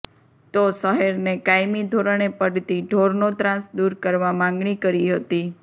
તો શહેરને કાયમી ધોરણે પડતી ઢોરનો ત્રાસ દુર કરવા માંગણી કરી હતી